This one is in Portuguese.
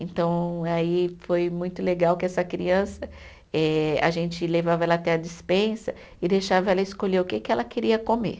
Então, aí foi muito legal que essa criança, eh a gente levava ela até a dispensa e deixava ela escolher o que que ela queria comer.